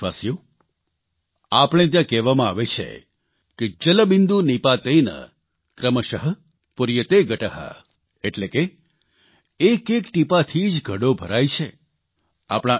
મારા વ્હાલા દેશવાસીઓ આપણે ત્યાં કહેવામાં આવે છે કે जलबिंदु निपातेन क्रमशः पूर्यते घटः એટલે કે એક એક ટીપાથી જ ઘડો ભરાય છે